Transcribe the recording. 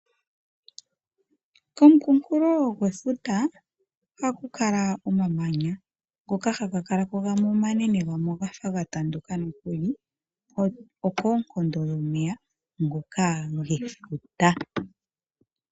Komukukulo ngwefuta ohaku kala omamanya ngoka haga kalako gamwe omanene gamwe ogafa ga tanduka nokuli okoonkondo dhomeya ngoka gefuta.